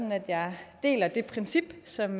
at jeg deler det princip som